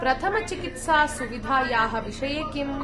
प्रथमचिकित्सासुविधायाः विषये किम्?